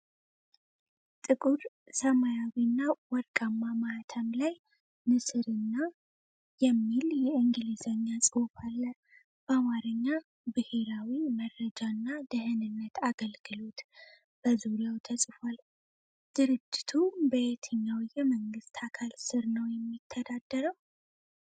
ጥቁር ሰማያዊና ወርቃማ ማኅተም ላይ ንስርና "NATIONAL INTELLIGENCE AND SECURITY SERVICE" የሚል የእንግሊዝኛ ጽሑፍ አለ። በአማርኛ "ብሔራዊ መረጃና ደኅንነት አገልግሎት" በዙሪያው ተጽፏል። ድርጅቱ በየትኛው የመንግሥት አካል ስር ነው የሚተዳደረው?